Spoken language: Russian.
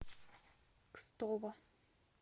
кстово